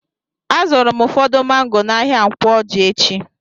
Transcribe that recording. A zụrụ m ụfọdụ mango n'ahia Nkwo Ọjị echi.